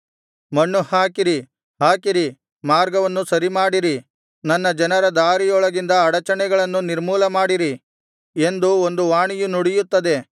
ಮಣ್ಣು ಹಾಕಿರಿ ಹಾಕಿರಿ ಮಾರ್ಗವನ್ನು ಸರಿಮಾಡಿರಿ ನನ್ನ ಜನರ ದಾರಿಯೊಳಗಿಂದ ಅಡಚಣೆಗಳನ್ನು ನಿರ್ಮೂಲಮಾಡಿರಿ ಎಂದು ಒಂದು ವಾಣಿಯು ನುಡಿಯುತ್ತದೆ